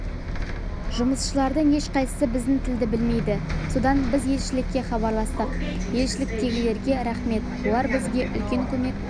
жұмысшылардың ешқайсысы біздің тілді білмейді содан біз елшілікке хабарластық елшіліктегілерге рақмет олар бізге үлкен көмек